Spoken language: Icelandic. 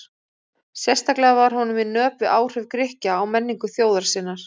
Sérstaklega var honum í nöp við áhrif Grikkja á menningu þjóðar sinnar.